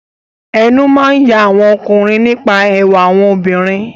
Ẹnu máa ń ya àwọn ọkùnrin nípa ẹwà àwọn obìnrin.